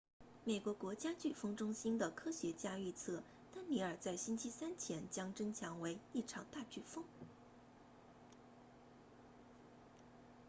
美国国家飓风中心的科学家预测丹妮尔在星期三前将增强为一场大飓风